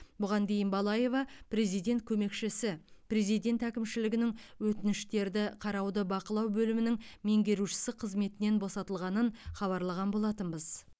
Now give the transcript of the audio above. бұған дейін балаева президент көмекшісі президент әкімшілігінің өтініштерді қарауды бақылау бөлімінің меңгерушісі қызметінен босатылғанын хабарлаған болатынбыз